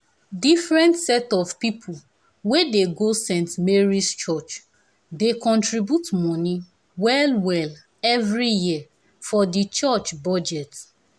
different set of people wey dey go go saint mary's church dey contribute money well well every year for the church budget.